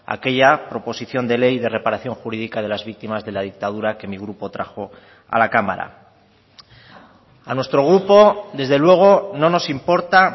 aquella proposición de ley de reparación jurídica de las víctimas de la dictadura que mi grupo trajo a la cámara a nuestro grupo desde luego no nos importa